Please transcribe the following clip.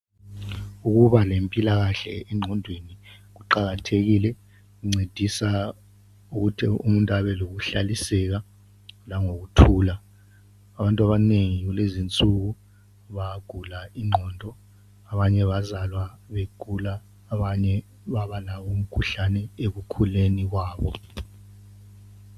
Ukuba lempilakahle engqondweni kuqakathekile kuncedisa ukuthi umuntu abe lokuhlaliseka langokuthula. Abantu abanengi kulezi insuku bayagula ingqondo, abanye bazalwa begula abanye babalawo umkhuhlane ekukhuleni kwabo.